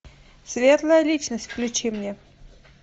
светлая личность включи мне